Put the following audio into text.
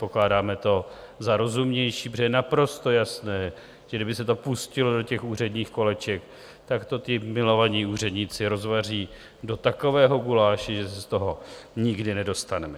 Pokládáme to za rozumnější, protože je naprosto jasné, že kdyby se to pustilo do těch úředních koleček, tak to ti milovaní úředníci rozvaří do takového guláše, že se z toho nikdy nedostaneme.